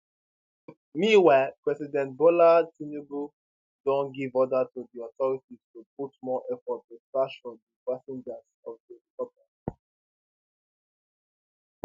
meanwhile president bola tinubu don give order to di authorities to put more efforts to search for di passengers of di helicopter